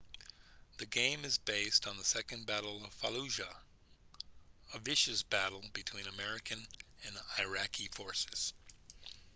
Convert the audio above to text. the game is based on the second battle of fallujah a vicious battle between american and iraqi forces